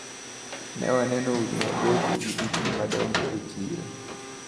Newaneno udi mabocho gi dukni madongo e chiro.